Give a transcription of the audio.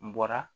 N bɔra